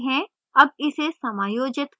अब इसे समायोजित करें